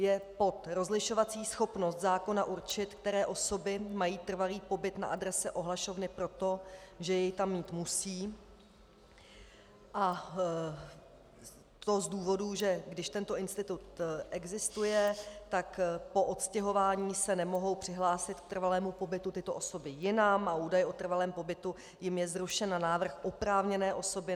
Je pod rozlišovací schopností zákona určit, které osoby mají trvalý pobyt na adrese ohlašovny proto, že jej tam mít musí, a to z důvodu, že když tento institut existuje, tak po odstěhování se nemohou přihlásit k trvalému pobytu tyto osoby jinam a údaj o trvalém pobytu jim je zrušen na návrh oprávněné osoby.